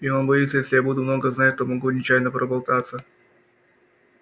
и он боится если я буду много знать то могу нечаянно проболтаться